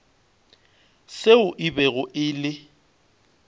seo e bego e le